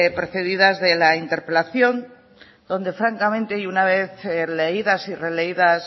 precedidas de la interpelación donde francamente y una vez leídas y releídas